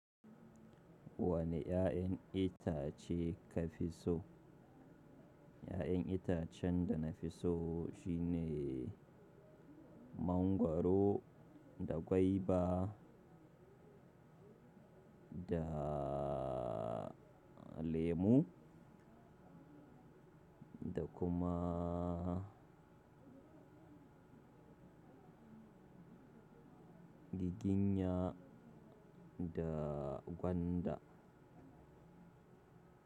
Wane 'ya'yan itace ka fi so? 'Ya'yan itacen da na fi so shine mangwaro da gwaiba da lemu da kumaa. Giginya da gwanda.